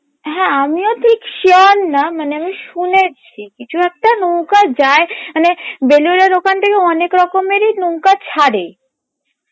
হ্যাঁ আমিও ঠিক sure না মানে ওই শুনেছি কিছু একটা নৌকা যায় মানে বেলুরের ওখান থেকে অনেকরকমেরই নৌকা ছাড়ে